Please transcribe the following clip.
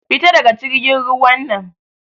Fita daga jirgin ruwan nan!